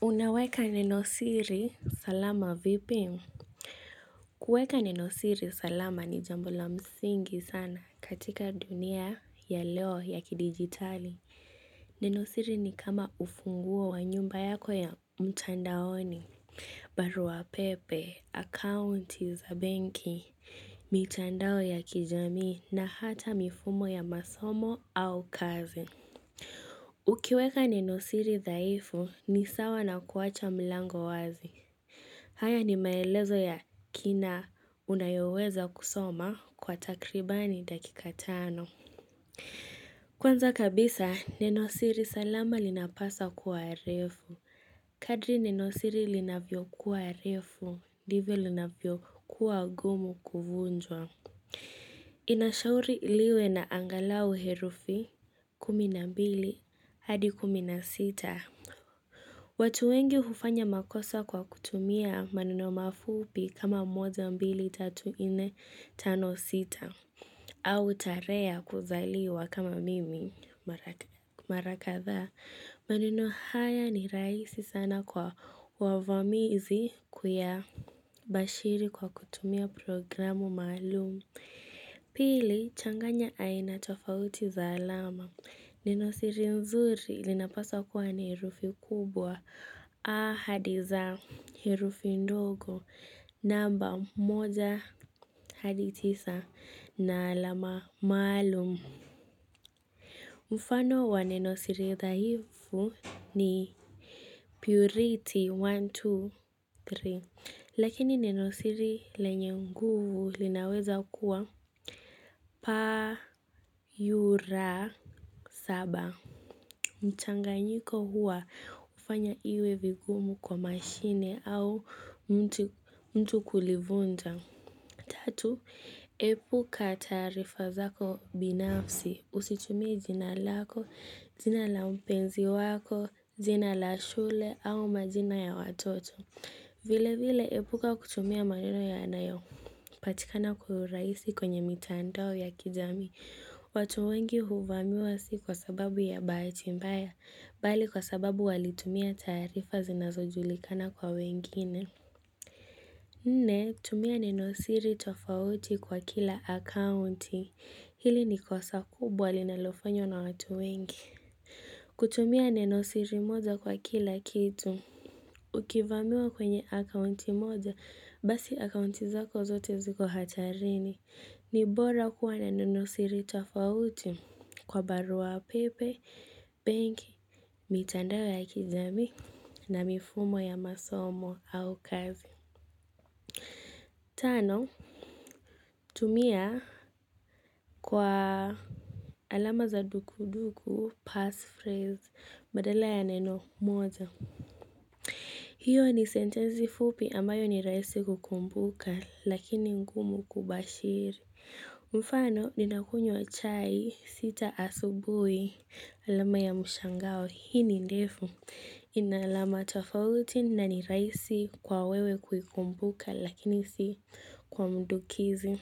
Unaweka nenosiri salama vipi? Kuweka nenosiri salama ni jambo la msingi sana katika dunia ya leo ya kidigitali. Nenosiri ni kama ufunguo wa nyumba yako ya mtandaoni, baruapepe, akaunti za benki, mitandao ya kijami na hata mifumo ya masomo au kazi. Ukiweka nenosiri dhaifu ni sawa na kuwacha mlango wazi. Haya ni maelezo ya kina unayoweza kusoma kwa takribani dakika tano. Kwanza kabisa, nenosiri salama linapasa kuwa refu. Kadri nenosiri linavyo kuwa refu, ndivyo linavyo kuwa gumu kuvunjwa. Inashauri liwe na angalau herufi kumi na mbili hadi kumi na sita. Watu wengi hufanya makosa kwa kutumia maneno mafupi kama moja mbili tatu ine tano sita. Au tarehe ya kuzaliwa kama mimi mara kathaa. Maneno haya ni rahisi sana kwa wavamizi kuya bashiri kwa kutumia programu maalumu. Pili changanya aina tofauti za alama. Nenosiri nzuri linapasa kuwa ni herufi kubwa a hadi z herufi ndogo namba moja hadi tisa na alama maalum. Mfano wa nenosiri dhaifu ni purity one, two, three. Lakini nenosiri lenye nguvu linaweza kuwa p, u, r, saba. Mchanganyiko huwa hufanya iwe vigumu kwa mashine au mtu kulivunja. Tatu, epuka taarifa zako binafsi. Usitumie jina lako, jina la mpenzi wako, jina la shule au majina ya watoto. Vile vile epuka kutumia maneno yanayo patikana kwa urahisi kwenye mitandao ya kijami. Watu wengi huvamiwa si kwa sababu ya bahati mbaya, bali kwa sababu walitumia tarifa zinazojulikana kwa wengine. Nne, tumia nenosiri tofauti kwa kila akaunti. Hili ni kosa kubwa linalofanywa na watu wengi. Kutumia nenosiri moja kwa kila kitu. Ukivamiwa kwenye akaunti moja, basi akaunti zako zote ziko hatarini. Nibora kuwa na nenosiri tofauti kwa baruapepe, benki, mitandao ya kijami na mifumo ya masomo au kazi. Tano, tumia kwa alama za dukuduku, passphrase, badala ya neno, moja. Hiyo ni sentensi fupi ambayo ni rahisi kukumbuka, lakini ngumu kubashiri. Mfano, ninakunywa chai, sita asubui, alama ya mshangao, hii ni ndefu, ina alama tafauti na ni rahisi kwa wewe kuikumbuka, lakini si kwa mdukizi.